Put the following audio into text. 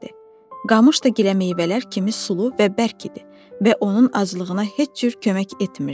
Qamış da gilə meyvələr kimi sulu və bərk idi və onun aclığına heç cür kömək etmirdi.